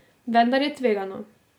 Vendar je tvegano.